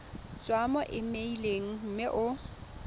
tswa mo emeileng mme o